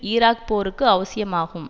Iraq போருக்கு அவசியமாகும்